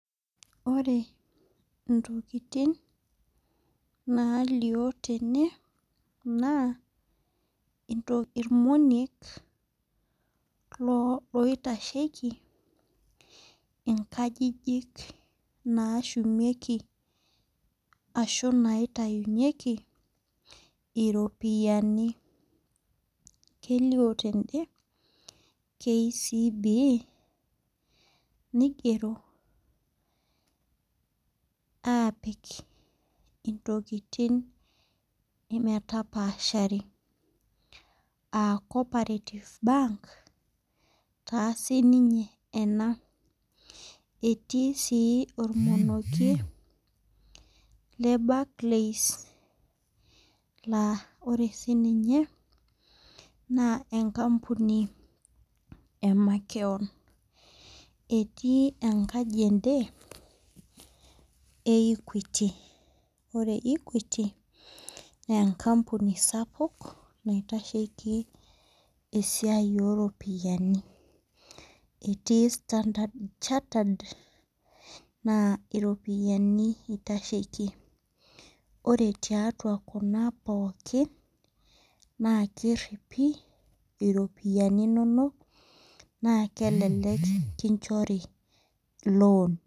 Ore intokitin naalio tene naa ilmoniek loitasheiki inkajijik naashumieki ashu naitainyeki iropiani, kelio tende KCB, neigero aapik intokitin metapaashari, aa cooperative bank taa sininye ena. Etii sii olmonokie le barclays naa ore sii ninye naa enkampuni e makewon, etii enkaji ende e Equity. Ore Equity naa enkampuni sapuk, naitasheiki esiai o ropiani. Etii Standerd Chattered, naa iropiani eitasheiki. Ore tiatua kuna pookin, naa keripi iropiani inono naa elelek kinchori loan.